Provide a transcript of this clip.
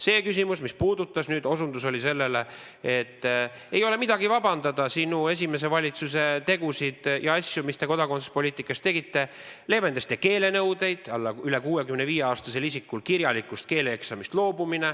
See küsimus, mis osutas sellele, et ei ole midagi vabandada sinu esimese valitsuse tegusid, mis te kodakondsuspoliitika alal tegite: leevendasite keelenõudeid, loobusite üle 65-aastaste isikute puhul kirjalikust keeleeksamist.